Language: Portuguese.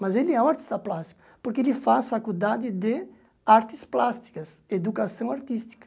Mas ele é um artista plástico, porque ele faz faculdade de artes plásticas, educação artística.